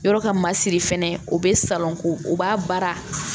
Yɔrɔ ka masiri fɛnɛ o bɛ salon ko o b'a baara